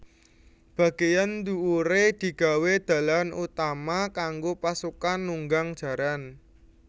Bagéyan dhuwuré digawé dalan utama kanggo pasukan nunggang jaran